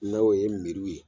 N'a o ye meriw ye.